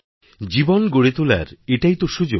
জীবন গড়ে তোলার এটাই তো সুযোগ